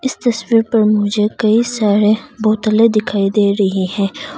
इस तस्वीर पर मुझे कई सारे बोतले दिखाई दे रही है।